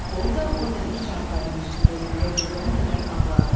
Orda o dəmir çarpayının üstündə yuxuya gedənə qədər ağladı.